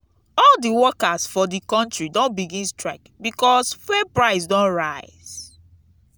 all di workers for di country don begin strike because fuel price don rise.